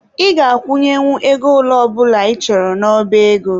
Ị ga-akwụnyenwu ego ole ọ bụla ị chọrọ n'oba ego.